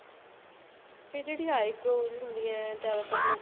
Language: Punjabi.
ਫ਼ਿਰ ਜਿਹੜੀ eyebrow ਹੁੰਦੀਆਂ ਜਿਆਦਾ ਤਰ ਲੋਕੀ